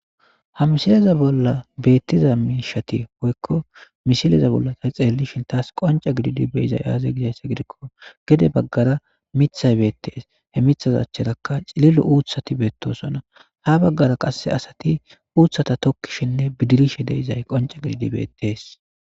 hamsileza bolla beettiza miishati hoykko misileza bolla ta xeellishin taas qonca gididi beizay aaze gidzaysse gidikko gede baggara mithay beettees he mithaz acherakka cililo uuthati beettosona ha baggara qasse asati uuthata tokkishinne bidirishe deezay qonca gididi beettees